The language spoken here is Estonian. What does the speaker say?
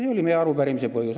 See oli meie arupärimise põhjus.